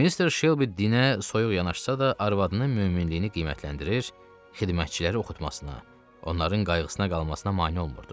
Mister Shelby dinə soyuq yanaşsa da, arvadının möminliyini qiymətləndirir, xidmətçiləri oxutmasına, onların qayğısına qalmasına mane olmurdu.